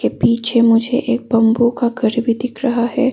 पीछे मुझे एक बंबू का घर भी दिख रहा है।